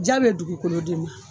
Ja be dugukolo de ma